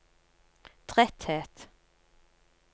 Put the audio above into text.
tretthet